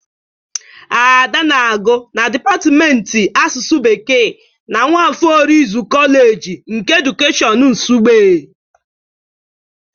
Ada na-agụ na dịpatịmentị asụsụ Bekee na Nwafor Orizu Koleji nke edukeshọn Nsugbe.